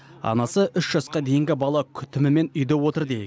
анасы үш жасқа дейінгі бала күтімімен үйде отыр дейік